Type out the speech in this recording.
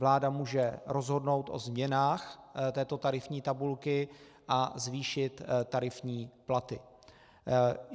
Vláda může rozhodnout o změnách této tarifní tabulky a zvýšit tarifní platy.